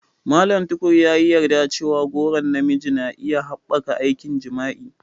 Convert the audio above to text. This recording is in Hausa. Mallam Tukur ya yi yarda cewa goron na miji na iya haɓaka aikin jima'i.